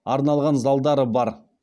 арналған залдары бар